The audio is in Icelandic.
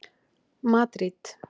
Madríd